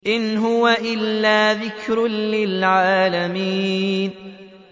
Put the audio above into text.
إِنْ هُوَ إِلَّا ذِكْرٌ لِّلْعَالَمِينَ